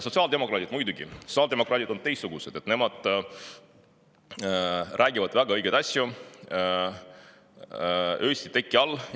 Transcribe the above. Sotsiaaldemokraadid on muidugi teistsugused, nemad räägivad väga õigeid asju öösiti teki all.